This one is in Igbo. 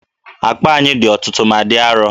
Akpa anyị dị ọtụtụ ma dị arọ